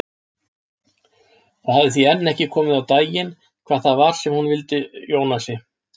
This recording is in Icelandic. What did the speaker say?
Það hafði því enn ekki komið á daginn hvað það var sem hún vildi Jónasi.